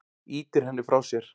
Ýtir henni frá sér.